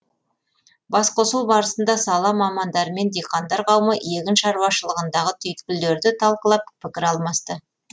басқосу барысында сала мамандары мен диқандар қауымы егін шаруашылығындағы түйткілдерді талқылап пікір алмасты